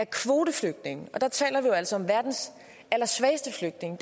kvoteflygtninge og der taler vi jo altså om verdens allersvageste flygtninge